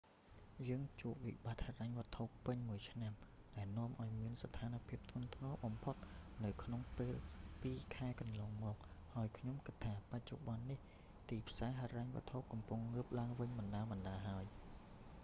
យើងជួបវិបត្តិហិរញ្ញវត្ថុពេញមួយឆ្នាំ ដែលនាំឲ្យមានស្ថានភាពធ្ងន់ធ្ងរបំផុតនៅក្នុងពេលពីរខែកន្លងមក ហើយខ្ញុំគិតថា បច្ចុប្បន្ននេះ ទីផ្សារហិរញ្ញវត្ថុកំពុងងើបឡើងវិញបណ្ដើរៗហើយ